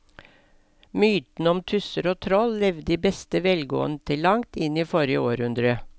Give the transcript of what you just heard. Mytene om tusser og troll levde i beste velgående til langt inn i forrige århundre.